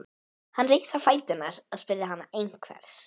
Hann reis á fætur og spurði hana einhvers.